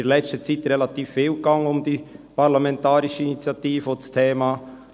In letzter Zeit lief relativ viel rund um diese Parlamentarische Initiative und das Thema.